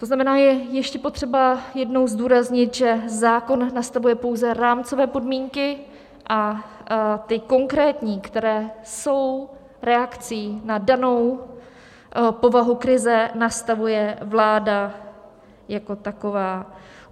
To znamená, je ještě potřeba jednou zdůraznit, že zákon nastavuje pouze rámcové podmínky a ty konkrétní, které jsou reakcí na danou povahu krize, nastavuje vláda jako taková.